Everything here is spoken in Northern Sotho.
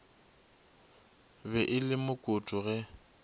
be e le mokoto ge